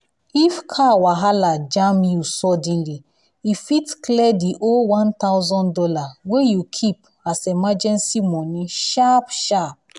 if car wahala jam you suddenly e fit clear the whole one thousand dollars wey you keep as emergency money sharp-shar